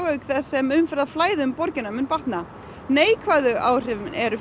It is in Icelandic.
auk þess sem umferðarflæði um borgina mun batna neikvæðu áhrifin eru